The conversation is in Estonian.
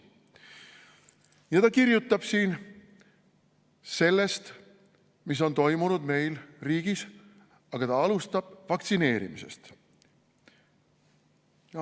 Ja ta kirjutab siin sellest, mis on toimunud meil riigis, aga ta alustab vaktsineerimisest.